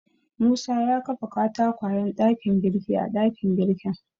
Musa ya kafa katakwayen ɗakin girki a ɗakin girkin.